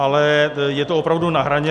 Ale je to opravdu na hraně.